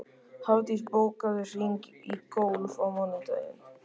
Hafdís, bókaðu hring í golf á mánudaginn.